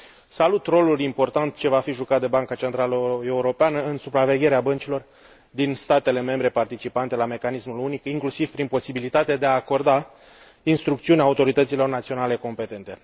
Salut rolul important ce va fi jucat de Banca Centrală Europeană în supravegherea băncilor din statele membre participante la mecanismul unic, inclusiv prin posibilitatea de a acorda instrucțiuni autorităților naționale competente.